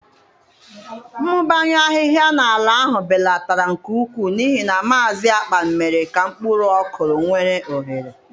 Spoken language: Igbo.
Mmụbanye ahịhịa n'ala ahụ belatara nke ukwuu n'ihi na Maazị Akpan mere ka mkpụrụ ọkụrụ nwere ohere.